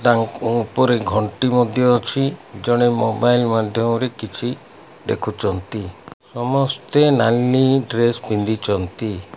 ତାଙ୍କ ଉଁ ଉପରେ ଘଣ୍ଟି ମଧ୍ୟ ଅଛି ଜଣେ ମୋବାଇଲ ମାଧ୍ୟମ ରେ କିଛି ଦେଖୁଚନ୍ତି ସମସ୍ତେ ନାଲି ଡ୍ରେସ୍ ପିନ୍ଧିଚନ୍ତି।